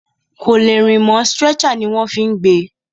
Kò lè rìn mọ́, stretcher ní wọ́n fí gbé e.